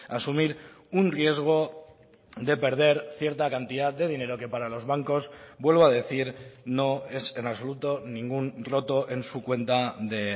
asumir un riesgo de perder cierta cantidad de dinero que para los bancos vuelvo a decir no es en absoluto ningún roto en su cuenta de